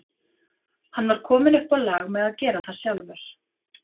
Hann var kominn upp á lag með að gera það sjálfur.